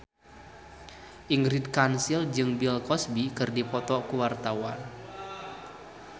Ingrid Kansil jeung Bill Cosby keur dipoto ku wartawan